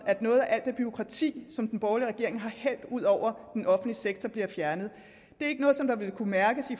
at noget af alt det bureaukrati som den borgerlige regering har hældt ud over den offentlige sektor bliver fjernet det er ikke noget der vil kunne mærkes